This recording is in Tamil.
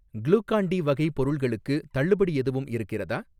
க்ளூகான் டி வகை பொருள்களுக்கு தள்ளுபடி எதுவும் இருக்கிறதா?